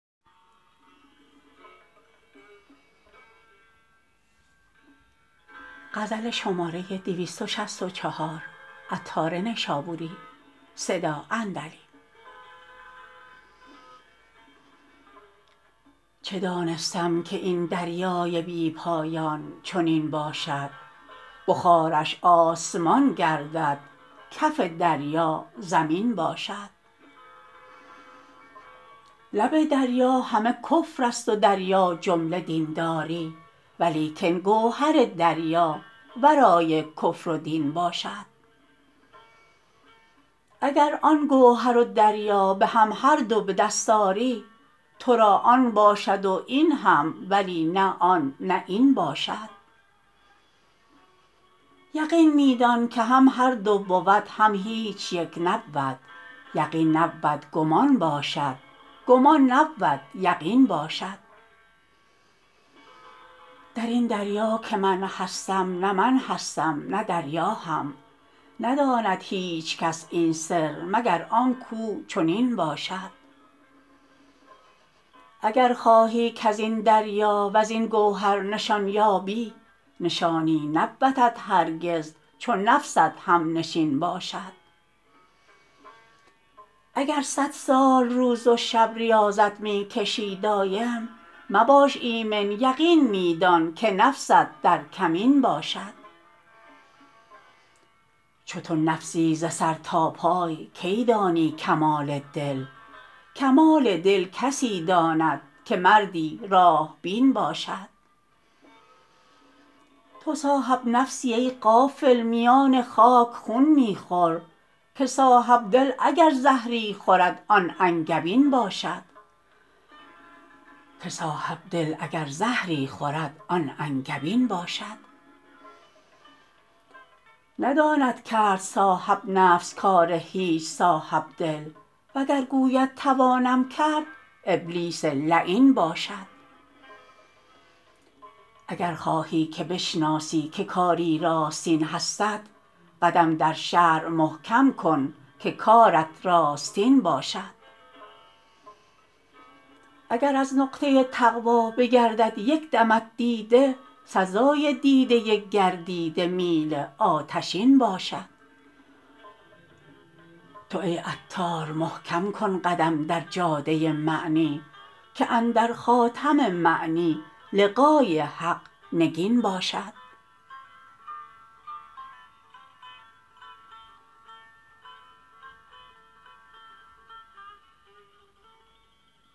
چه دانستم که این دریای بی پایان چنین باشد بخارش آسمان گردد کف دریا زمین باشد لب دریا همه کفر است و دریا جمله دین داری ولیکن گوهر دریا ورای کفر و دین باشد اگر آن گوهر و دریا به هم هر دو به دست آری تو را آن باشد و این هم ولی نه آن نه این باشد یقین می دان که هم هر دو بود هم هیچ یک نبود یقین نبود گمان باشد گمان نبود یقین باشد درین دریا که من هستم نه من هستم نه دریا هم نداند هیچ کس این سر مگر آن کو چنین باشد اگر خواهی کزین دریا وزین گوهر نشان یابی نشانی نبودت هرگز چو نفست هم نشین باشد اگر صد سال روز و شب ریاضت می کشی دایم مباش ایمن یقین می دان که نفست در کمین باشد چو تو نفسی ز سر تا پای کی دانی کمال دل کمال دل کسی داند که مردی راه بین باشد تو صاحب نفسی ای غافل میان خاک و خون می خور که صاحب دل اگر زهری خورد آن انگبین باشد نداند کرد صاحب نفس کار هیچ صاحب دل و گر گوید توانم کرد ابلیس لعین باشد اگر خواهی که بشناسی که کاری راستین هستت قدم در شرع محکم کن که کارت راستین باشد اگر از نقطه تقوی بگردد یک دمت دیده سزای دیده گردیده میل آتشین باشد تو ای عطار محکم کن قدم در جاده معنی که اندر خاتم معنی لقای حق نگین باشد